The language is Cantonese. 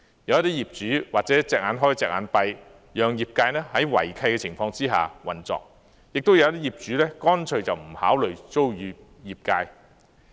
有些業主或者睜一隻眼、閉一隻眼，讓業界在違契的情況下運作；亦有些業主乾脆不考慮租與業界。